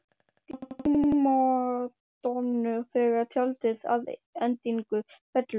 Og hvað gera prímadonnur þegar tjaldið að endingu fellur?